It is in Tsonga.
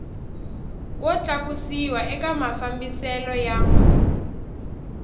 wo tlakusiwa ka mafambiselo ya